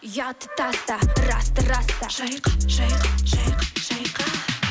ұятты таста расты раста шайқа шайқа шайқа шайқа